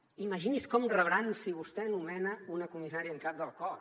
imagini’s com ho rebran si vostè nomena una comissària en cap del cos